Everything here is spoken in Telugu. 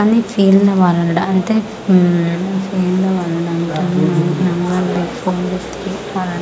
అని ఫీల్ ది వరాల్డ్ అంటే ఉం ఫీల్ ది వరాల్డ్ అంటే --